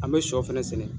An bɛ shɔ fɛnɛ sɛnɛ